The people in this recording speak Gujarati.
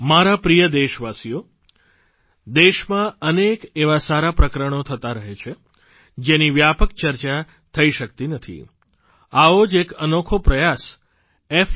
મારા પ્રિય દેશવાસીઓ દેશમાં અનેક એવાં સારાં પ્રકરણો થતાં રહે છે જેની વ્યાપક ચર્ચા થઇ શકતી નથી આવો જ એક અનોખો પ્રયાસ f